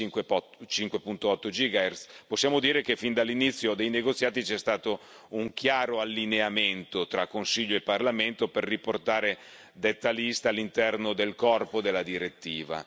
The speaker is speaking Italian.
5.5 gigahertz possiamo dire che fin dall'inizio dei negoziati c'è stato un chiaro allineamento tra Consiglio e Parlamento per riportare detta lista all'interno del corpo della direttiva.